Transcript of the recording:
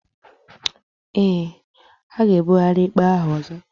Eé, a ga-ebugharị ikpe ahụ ọzọ.